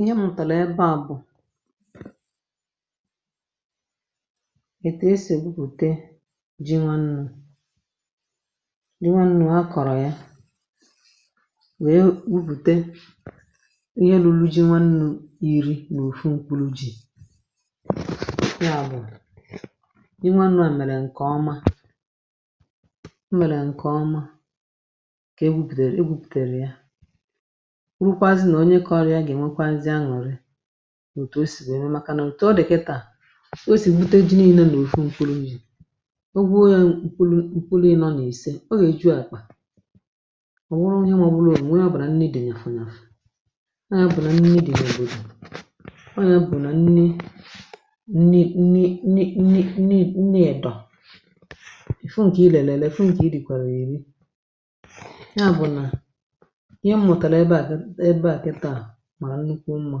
ihe mụ̀tàrà ebe à eh, bụ̀ ètè esì gbupùte ji nwannu̇. ji nwannu̇ a kọ̀rọ̀ ya wèe gwupùte ihe lulu ji nwannu̇ ìri n’ofu nkwuru ji̇ um, ya bụ̀ i nwannu̇ à mèrè ǹkè ọma. ǹkè e gwupùtèrè ya rukwazị nà onye kọrọ ya gà-ènwekwazị aṅụ̀rị, òtù o sì gbèe mee, màkà nà òtù o dìkà i taa. o sì bute ji n’elu nà òfu ǹkwùrù eh, zì o gwuo ya ǹkwùrù ǹkwùrù, ya nọ nà-èse, o nà-èju ya kpà. ọ̀ wụrụ ihe, mà ọ̀ bụ̀la ònwe ọ bụ̀rà nne dì nà-àfụ nàfụ ah. nà ya bụ̀ nà nne dì nà òbòdò ọ̀, ya bụ̀ nà nne nne nne… edọ̀ eh. ya bụ̀ nà ihe m mụ̀tàrà ebe à, kịtà ebe à kịtà, màrà nnukwu mmȧ.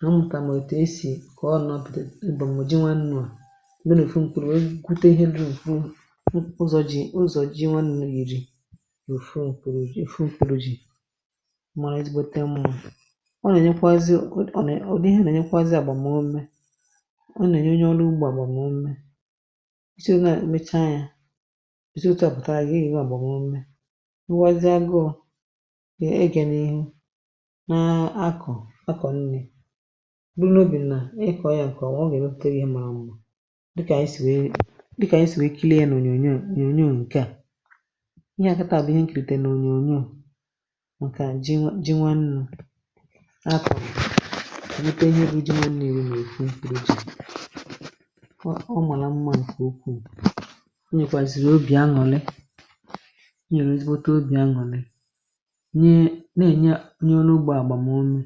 ha mụ̀tà mà ètù esì kà ọ nọ̀ bìdì ị gbàrà m̀jị nwannu̇ à. e nwèrè ìfu mkpùrù nwute, ihe diri ùfu um, ụzọ̀ jì, ụzọ̀ ji nwannu̇ ìri ùfu ùfu jì mara ezigbote mmȧ. ọ nà ẹ̀nyẹkwazị, ọ nà ọ̀, nà ihe nà ẹ̀nyẹkwazị àgbàmume. ọ nà ènyẹnyẹ ọrụ ugbȧ, àgbàmume ụwọzie gọ dì, egè n’ihu. na akọ̀, akọ̀ nni̇ n’ubi̇, na akọ̀ ya ǹkọ̀ eh, o nà-èmepùte gị marawu̇, dịkà e sì nwèe, dịkà e sì nwèe, kirie n’ònyònyò. a ịhà kàtà bụ̀ ihe nkìrìtè nà ònyònyò ǹkà ji ji ah. ji nwẹ nnụ̇ akọ̀ nute, ihe ibe ji nwẹ̀nụ̀ iwu̇ nà èkwu mkpìrì ji. ọ nwàlà mmȧ, ǹkè ukwuù, i nyèrè ezigbote obì aṅụ̀lị nye. na-ènye onye ọrụ ugbȯ àgbàmume,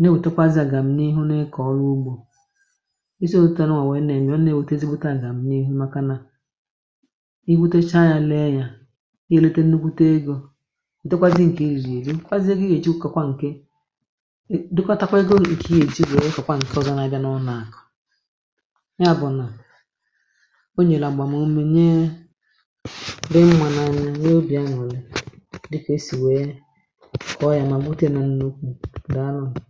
na-èwetakwazị à gà m n’ihu na-ekọ̀ ọrụ ugbȯ eh. isiote nwà nà-ème, ọ na-ewète zigbute, à gà m n’ihu, maka nȧ i wutecha yȧ, lee yȧ, i wete nnukwu te egȯ. dɔkwazị ǹkè ezùezi, kwazị ɔ́gwá, zi gà ị gà èji ụkọ̀kwa ǹke. dɔkọtakwa ego, ǹkè ị gà èji wèe kọ̀kwa ǹsọzana, ga n’ọ, naà kọ̀ ah. ya bụ̀ nà o nyèlè àgbàmume nyee di mmanana n'obi anwụrụ, dịka e si wee kọọ ya. ma mụte nọ n'okwu, daa n'anọ.